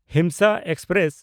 Himsa express